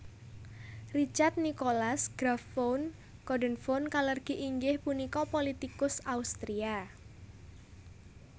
Richard Nikolaus Graf von Coudenhove Kalergi inggih punika politikus Austria